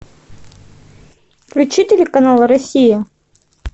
включи телеканал россия